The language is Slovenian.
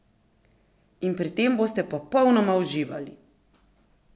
In pri tem boste popolnoma uživali!